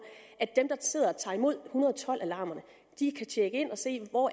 at dem der sidder og tager imod en hundrede og tolv alarmerne kan tjekke ind og se hvor